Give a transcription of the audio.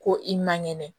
Ko i man kɛnɛ